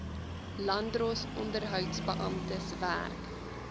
landdroshof onderhoudsbeamptes werk